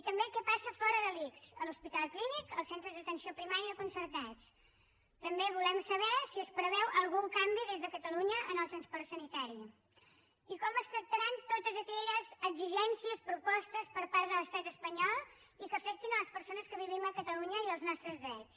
i també què passa fora de l’ics a l’hospital clínic als centres d’atenció primària concertats també volem saber si es preveu algun canvi des de catalunya en el transport sanitari i com es tractaran totes aquelles exigències propostes per part de l’estat espanyol i que afectin les persones que vivim a catalunya i els nostres drets